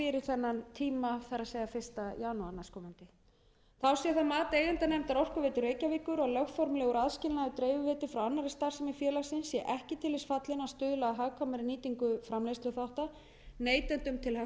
þennan tíma það er fyrsta janúar næstkomandi þá sé það mat eigendanefndar orkuveitu reykjavíkur að lögformlegur aðskilnaður dreifiveitu frá annarri starfsemi félagsins sé ekki til þess fallinn að stuðla að hagkvæmari nýtingu framleiðsluþátta neytendum til hagsbóta sem sé hinn